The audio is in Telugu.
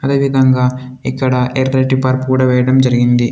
అదేవిధంగా ఇక్కడ ఎర్రటి పరుపు కూడా వెయ్యడం జరిగింది.